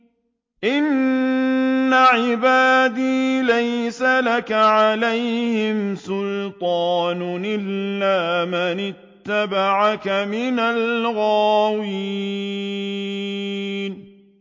إِنَّ عِبَادِي لَيْسَ لَكَ عَلَيْهِمْ سُلْطَانٌ إِلَّا مَنِ اتَّبَعَكَ مِنَ الْغَاوِينَ